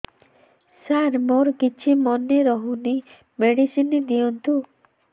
ସାର ମୋର କିଛି ମନେ ରହୁନି ମେଡିସିନ ଦିଅନ୍ତୁ